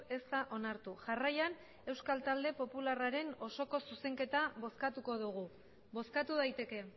ez da onartu jarraian euskal talde popularraren osoko zuzenketa bozkatuko dugu bozkatu daiteke